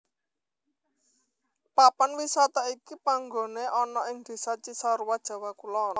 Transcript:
Papan wisata iki panggoné ana ing Désa Cisarua Jawa Kulon